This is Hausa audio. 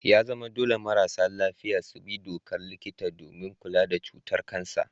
Ya zama dole marasa lafiya su bi dokar likita domin kula da cutar kansa.